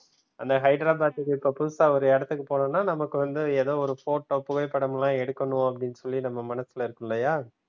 அந்த ஹைதராபாத்துக்கு இப்போ புதுசா ஒரு இடத்துக்கு போகணும்னா நமக்கு வந்து எதோ photo புகைப்படம் எல்லாம் எடுக்கணு அப்டினு சொல்லி நம்ம மனசுல இருக்கும் இல்லையா?